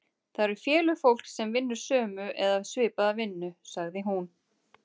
Það eru félög fólks sem vinnur sömu eða svipaða vinnu, sagði hún.